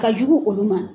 Ka jugu olu ma